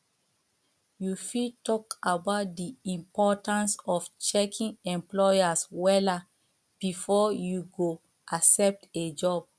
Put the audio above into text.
you fit talk about di importance of checking employers wella before you go accept a job